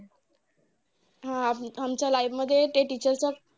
हा! आमच्या life मध्ये ते teacher चा